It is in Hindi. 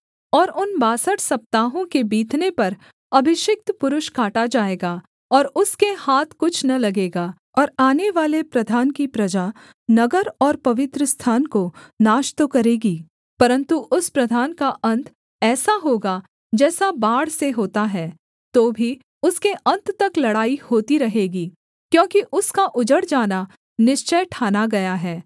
और उन बासठ सप्ताहों के बीतने पर अभिषिक्त पुरुष काटा जाएगा और उसके हाथ कुछ न लगेगा और आनेवाले प्रधान की प्रजा नगर और पवित्रस्थान को नाश तो करेगी परन्तु उस प्रधान का अन्त ऐसा होगा जैसा बाढ़ से होता है तो भी उसके अन्त तक लड़ाई होती रहेगी क्योंकि उसका उजड़ जाना निश्चय ठाना गया है